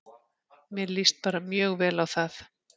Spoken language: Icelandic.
Mér líst bara mjög vel á það.